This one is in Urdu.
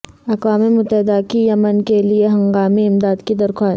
اقوام متحدہ کی یمن کے لیے ہنگامی امداد کی درخواست